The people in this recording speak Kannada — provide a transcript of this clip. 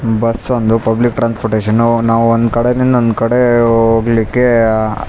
ಬಸ್ ಒಂದು ಪಬ್ಲಿಕ್ ಟ್ರಾನ್ಸ್ಪೋರ್ಟಷನ್ನು ನಾವು ಒಂದ್ ಕಡೆ ಇಂದ ಇನ್ನೊಂದ್ ಕಡೆ ಹೋಗ್ಲಿಕ್ಕೆ ಆಹ್ಹ್ --